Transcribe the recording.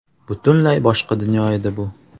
Butunlay boshqa dunyo edi bu.